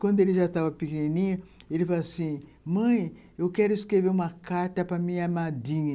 Quando ele já estava pequenininho, ele falou assim, mãe, eu quero escrever uma carta para minha madrinha.